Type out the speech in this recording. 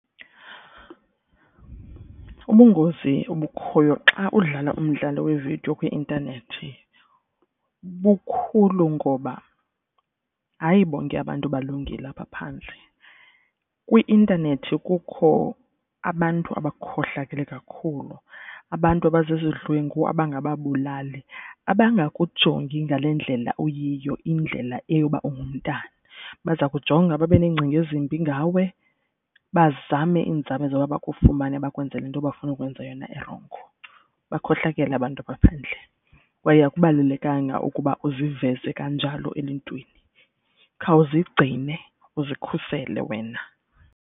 Ubungozi obukhoyo xa udlala umdlalo wevidiyo kwi-intanethi bukhulu ngoba hayi bonke abantu balungile apha phandle. Kwi-intanethi kukho abantu abakhohlakele kakhulu, abantu abazizidlwengu abangababulali. Abangajongi ngale ndlela uyiyo indlela eyoba ungumntana. Baza kujonga babe neengcinga ezimbi ngawe bazame iinzame zokuba bakufumane bakwenze le nto bafuna ukwenza yona erongo. Bakhohlakele abantu apha phandle kwaye akubalulekanga ukuba uziveze kanjalo eluntwini. Khawuzigcine uzikhusele wena.